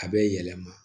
A bɛ yɛlɛma